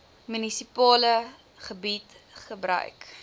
munisipale gebied gebruik